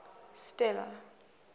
stella